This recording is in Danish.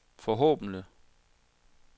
forhåbentlig